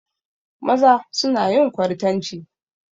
Maza suna yin kwartanci.